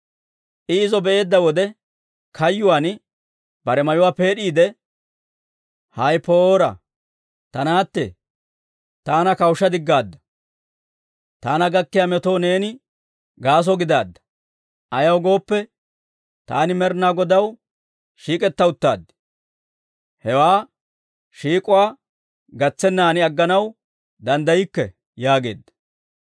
I izo be'eedda wode, kayyuwaan bare mayuwaa peed'iide, «Hay poora ta naatte! Taana kawushsha diggaadda; taana gakkiyaa metoo neeni gaaso gidaadda. Ayaw gooppe, taani Med'inaa Godaw shiik'etta uttaad; hewaa shiik'uwaa gatsennan agganaw danddaykke!» yaageedda.